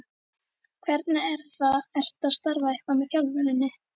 Hvernig er það, ertu að starfa eitthvað með þjálfuninni?